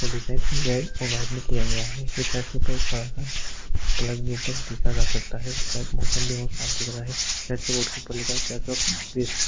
इसका design red और white में किया गया है। ये चर्च के ऊपर बड़ा सा प्लस भी ऊपर देखा जा सकता है। मौसम भी बोहोत साफ़ दिख रहा है। चर्च के बोर्ड के ऊपर लिखा है चर्च ऑफ़ क्रिस्ट ।